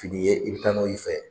Fini ye i b'i taa n'o y'i fɛ.